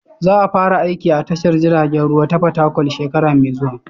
Za a fara aiki a tashar jiragen ruwa ta Fatakwal shekara mai zuwa.